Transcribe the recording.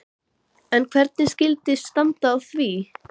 En hvernig skyldi standa á því?